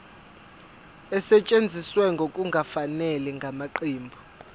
esetshenziswe ngokungafanele ngamaqembu